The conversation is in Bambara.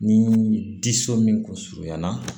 Ni disi min kun surunyana